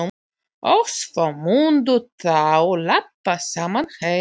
Og svo mundu þau labba saman heim.